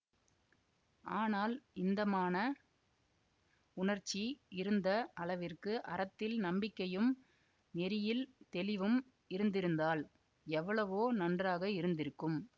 ஆனால் இந்த மான உணர்ச்சி இருந்த அளவிற்கு அறத்தில் நம்பிக்கையும் நெறியில் தெளிவும் இருந்திருந்தால் எவ்வளவோ நன்றாக இருந்திருக்கும்